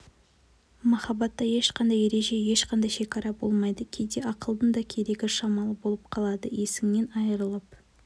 махаббатта ешқандай ереже ешқандай шекара болмайды кейде ақылдың да керегі шамалы болып қалады есіңнен айырылып